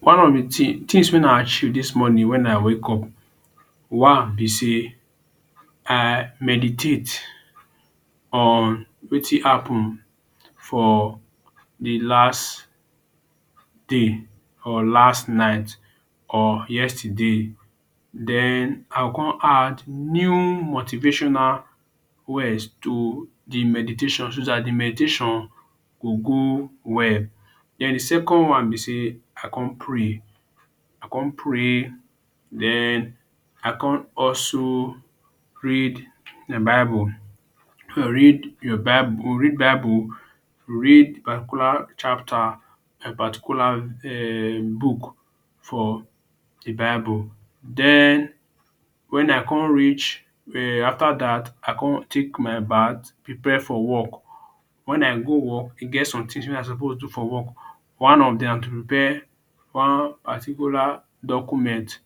One of the things things wey i achieve dis morning when i wake up. One be sey, I meditate on wetin happen for the last day or last night or yesterday. Den I con add new motivational words to the meditation, so dat the meditation go go well. den de second one be sey, I con pray, I con pray den i con also read the bible or read read the bible or read bible read particular chapter particular um book for the bible. Den when I con reach um after dat i con take my bath prepare for work. When i go work, e get somethings wey I suppose to for work. One of dem na to prepare one particular document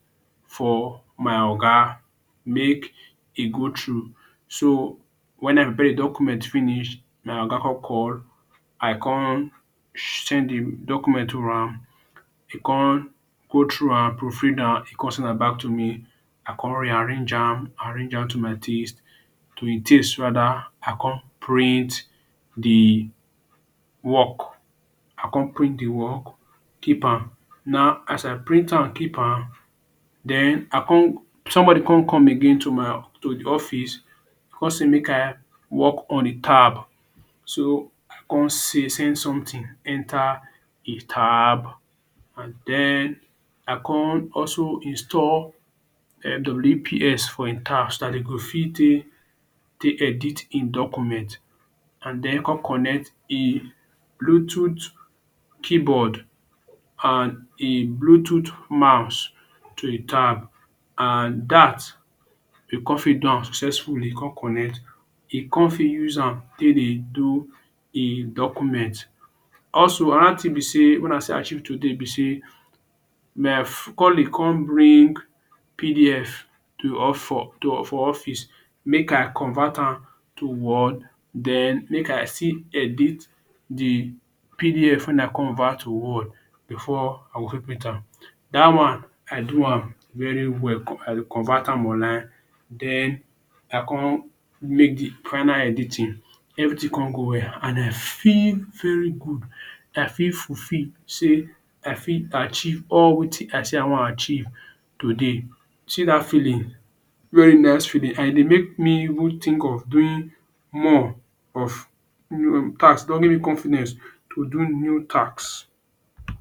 for my oga make e go through. So, when i prepare the document finish, my oga con call, I con send the document to am. E con go through am, proofread am, e con send am back to me. I con rearrange am rearrange am to my taste, to hin taste rather i con print the work. I con print the work, keep am, now as i print am keep am, den I con somebody con come again to my to the office con say make i work on a tab. So, I con see sey something enter the tab and den i con also install WPS for im tab so dat de go fit take take edit im document and den con connect im bluetooth keyboard and im bluetooth mouse to e tab. And dat we con fit do am successfully con correct. E con fit use am take dey do im document. Also, another thing be sey when I still achieve today be sey my colleague con bring PDF to for office make i convert am to word den make still edit the PDF when i covert to word before i go fit print am. Dat one i do am very well. I convert am online. Den i con make the final editing. Everything con go well and i feel very good. I feel fulfill sey i fit achieve all wetin i say I wan achieve today. See dat feeling very nice feeling and e dey make me even think of doing more of task e don give me confidence to do new task.